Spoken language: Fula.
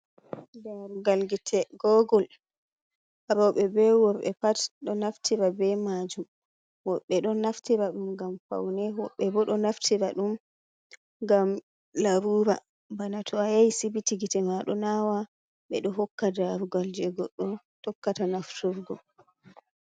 Darugal gite gogul roɓe be worɓe pat ɗo naftira be majum, woɓɓe ɗo naftira dum ngam faune, woɓɓe bo ɗo naftira ɗum ngam larura bana to a yahi sibiti gite maɗo nawa ɓe ɗo hokka darugal je goddo tokkata nafturgo.